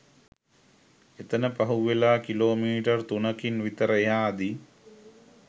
එතන පහුවෙලා kilometre තුනකින් විතර එහාදී